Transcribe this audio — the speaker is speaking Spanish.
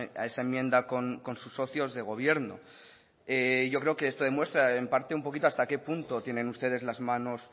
a esa enmienda con sus socios de gobierno yo creo que esto demuestra en parte un poquito hasta qué punto tienen ustedes las manos